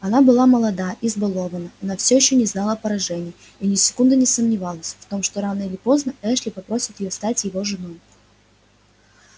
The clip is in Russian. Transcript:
она была молода избалованна она ещё не знала поражений и ни секунды не сомневалась в том что рано или поздно эшли попросит её стать его женой